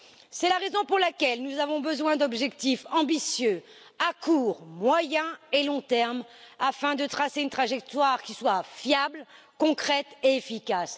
C'est la raison pour laquelle nous avons besoin d'objectifs ambitieux à court, moyen et long termes, afin de tracer une trajectoire qui soit fiable, concrète et efficace.